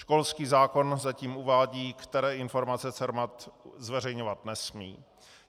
Školský zákon zatím uvádí, které informace CERMAT zveřejňovat nesmí.